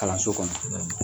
Kalanso kɔnɔ